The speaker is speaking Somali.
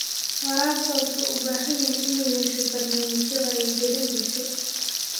Waraabka wuxuu u baahan yahay inuu yeesho barnaamijyo wacyigelin bulsho.